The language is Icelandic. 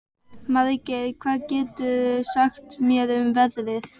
Margeir, hvað geturðu sagt mér um veðrið?